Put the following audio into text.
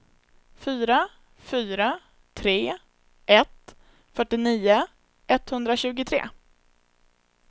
fyra fyra tre ett fyrtionio etthundratjugotre